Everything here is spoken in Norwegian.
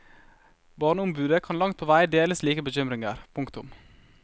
Barneombudet kan langt på vei dele slike bekymringer. punktum